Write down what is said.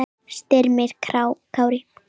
Styrmir Kári.